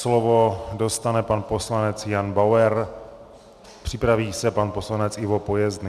Slovo dostane pan poslanec Jan Bauer, připraví se pan poslanec Ivo Pojezdný.